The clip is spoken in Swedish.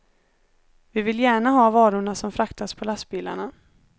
Vi vill gärna ha varorna som fraktas på lastbilarna.